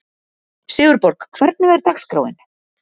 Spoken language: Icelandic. Sigurborg, hvernig er dagskráin?